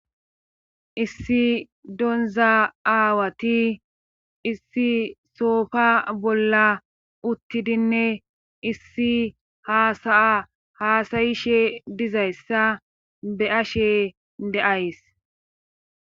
Issi donza aawati issi soofa bolla uttidinne issi haasaya haasayishe dizayssa be ashe deays.